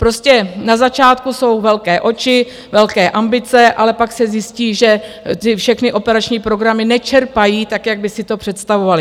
Prostě na začátku jsou velké oči, velké ambice, ale pak se zjistí, že ty všechny operační programy nečerpají tak, jak by si to představovaly.